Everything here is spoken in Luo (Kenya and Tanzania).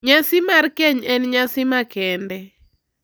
Nyasi mar keny en nyasi makende